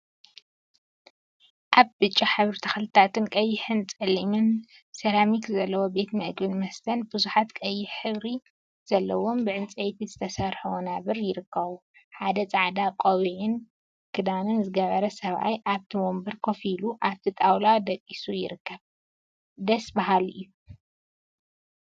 ኣብ ብጫ ሕብሪ ተክሊታትን ቀይሕን ጸሊምን ሰራሚክ ዘለዎ ቤት ምግቢን መስተን ቡዙሓት ቀይሕ ሕብሪ ዘለዎም ብዕንጸይቲ ዝተሰርሑ ወናብር ይርከቡ። ሓደ ጻዕዳ ቆቢዕን ኽዳንን ዝገበረ ሰብኣይ ኣብቲ ወንበር ኮፍ ኢሉ ኣብቲ ጣውላ ድቂሱ ይርከብ። ድስ ብሃሊ እዩ።